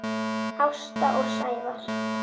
Ásta og Sævar.